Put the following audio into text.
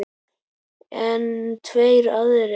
En tveir aðrir